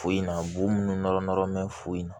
Foyi na b'u minnu nɔrɔ nɔrɔ bɛ foyi na